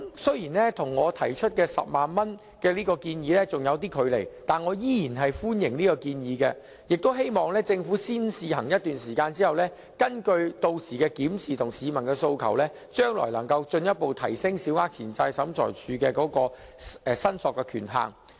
雖然這金額與我提出的10萬元建議仍有距離，但我依然歡迎這建議，希望政府在先試行一段時間後，根據屆時的檢視，以及市民的訴求，將來能夠進一步提升向審裁處申索的權限。